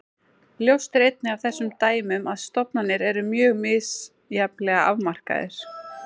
Ljóst er einnig af þessum dæmum að stofnar eru mjög misjafnlega afmarkaðir.